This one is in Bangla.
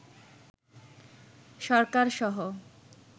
সরকারসহ